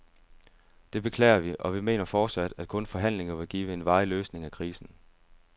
Det beklager vi, og vi mener fortsat, at kun forhandlinger vil give en varig løsning af krisen.